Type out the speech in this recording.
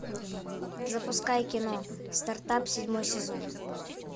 запускай кино стартап седьмой сезон